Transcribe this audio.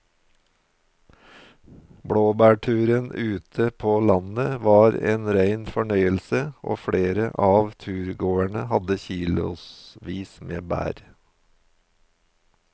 Blåbærturen ute på landet var en rein fornøyelse og flere av turgåerene hadde kilosvis med bær.